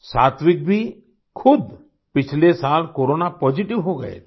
सात्विक भी खुद पिछले साल कोरोना पॉज़िटिव हो गए थे